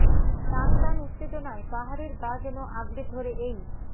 টান টান উত্তেজনায় পাহাড়ের গা যেন আঁকড়ে ধরে এই